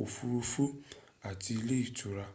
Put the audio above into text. òfuurufú àti ilé ìtura